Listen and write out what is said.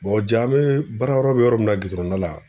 ja an be baarayɔrɔ be yɔrɔ min na gidɔrɔnda la